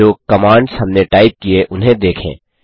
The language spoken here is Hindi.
जो कमांड्स हमने टाइप किये उन्हें देखें